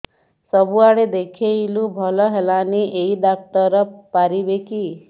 ସବୁଆଡେ ଦେଖେଇଲୁ ଭଲ ହେଲାନି ଏଇ ଡ଼ାକ୍ତର ପାରିବେ କି